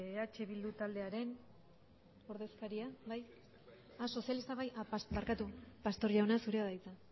eh bildu taldearen ordezkaria bai sozialistak bai barkatu pastor jauna zurea da hitza